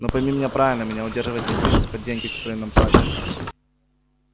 но пойми меня правильно меня удерживает не принцип а деньги которые нам платят